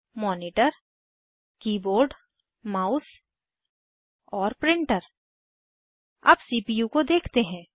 monitor keyboard mouse और printer अब CPU को देखते हैं